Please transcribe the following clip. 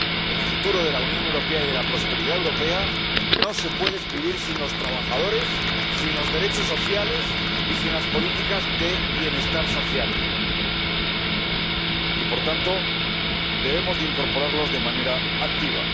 El futuro de la Unión Europea y de la prosperidad europea no se puede escribir sin los trabajadores, sin los derechos sociales y sin las políticas de bienestar social y, por tanto, debemos incorporarlos de manera activa.